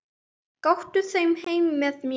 Gakktu þá heim með mér.